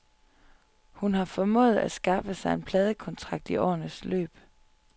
Hun har formået at skaffe sig en pladekontrakt i årenes løb.